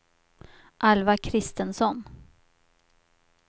Alva Kristensson